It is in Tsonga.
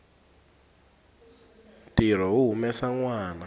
ntirho wo humesa nwana